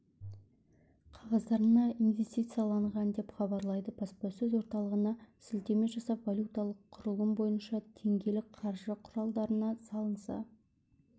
қағаздарына инвестицияланған деп хабарлайды баспасөз орталығына сілтеме жасап валюталық құрылым бойынша теңгелік қаржы құралдарына салынса